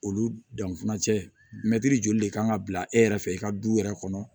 Olu danfan cɛ mɛri joli de kan ka bila e yɛrɛ fɛ i ka du yɛrɛ kɔnɔ